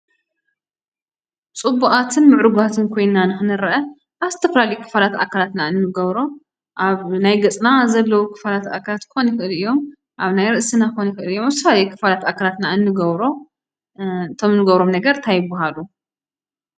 ፅቡቓትን ምዕሩጋትን ኮይንና ንኽንረአ፣ ኣብ ዝተፈላለዩ ክፋላት ኣካላትና እንገብሮ፣ ኣብ ናይ ገፅና ዘለው ክፋላት ኣካላትና ክኾኑ ይኽእሉ እዮም፣ ኣብ ናይ ርእስና ክኾኑ ይኽእሉ እዮም፣ ኣብ ዝተፈላለዩ ክፋላት ኣካላትና እንገብሮ። እቶም ንገብሮም ነገራት እንታይ ይባሃሉ?